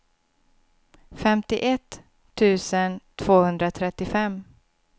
femtioett tusen tvåhundratrettiofem